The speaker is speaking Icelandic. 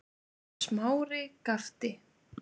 Smári gapti.